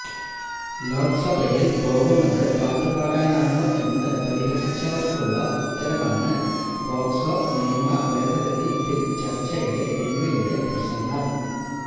ലോക്സഭയില് പോകുന്നത് പാട്ട് പാടാനാണോ എന്ന് പരിഹസിച്ചവര്ക്കുളള ഉത്തരമാണ് പോക്സോ നിയമ ഭേദഗതി ബില് ചര്ച്ചയിലെ രമ്യയുടെ പ്രസംഗം